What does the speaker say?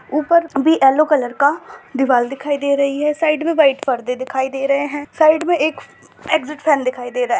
ऊपर भी yellow colour का दीवाल दिखाई दे रही है। साइड में वाइट पर्दे दिखाई दे रहे हैं। साइड में एक एग्जिट फेन दिखाई दे रहा है।